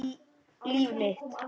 Líf mitt.